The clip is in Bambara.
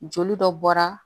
Joli dɔ bɔra